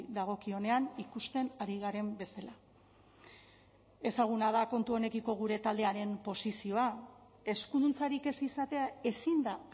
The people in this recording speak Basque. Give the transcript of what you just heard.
dagokionean ikusten ari garen bezala ezaguna da kontu honekiko gure taldearen posizioa eskuduntzarik ez izatea ezin da